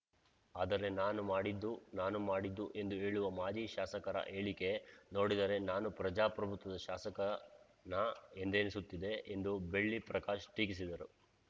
ಆದರೆ ನಾನು ಮಾಡಿದ್ದು ನಾನು ಮಾಡಿದ್ದು ಎಂದು ಹೇಳುವ ಮಾಜಿ ಶಾಸಕರ ಹೇಳಿಕೆ ನೋಡಿದರೆ ನಾನು ಪ್ರಜಾಪ್ರಭುತ್ವದ ಶಾಸಕನಾ ಎಂದೆನಿಸುತ್ತಿದೆ ಎಂದು ಬೆಳ್ಳಿ ಪ್ರಕಾಶ್‌ ಟೀಕಿಸಿದರು